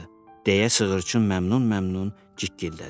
deyə sığırçın məmnun-məmnun cikgildədi.